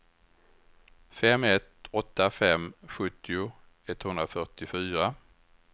fem ett åtta fem sjuttio etthundrafyrtiofyra